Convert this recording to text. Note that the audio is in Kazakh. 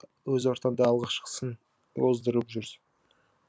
өз ортаңда алғашқысын оздырып жүрсің